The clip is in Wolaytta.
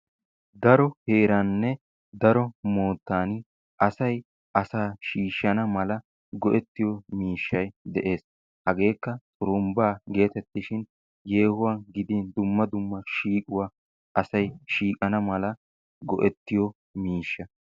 daro heeraanne daro moottan asay asaa shiishanawu mala go"ettiyoo miishay de"ees. hageekka xurumbbaa getetishin yeehuwaan gidin dumma dumma shiiquwaa asay shiiqana mala asay go"ettiyoo miishsha.